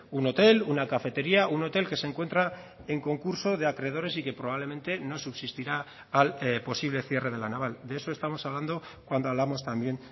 un hotel una cafetería un hotel que se encuentra en concurso de acreedores y que probablemente no subsistirá al posible cierre de la naval de eso estamos hablando cuando hablamos también